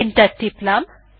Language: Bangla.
এন্টার টিপলাম